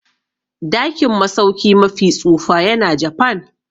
Dakin masauki mafi tsufa yana cikin Japan.